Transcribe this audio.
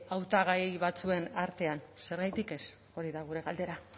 hautagai batzuen artean zergatik ez hori da gure galdera